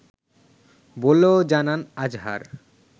বলেও জানান আজহার